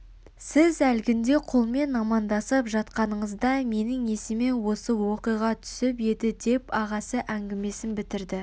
сіз әлгінде көлмен амандасып жатқаныңызда менің есіме осы оқиға түсіп еді деп ағасы әңгімесін бітірді